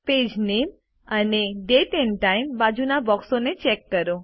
page name અને date and time બાજુના બોક્સોને ચેક કરો